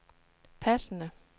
passende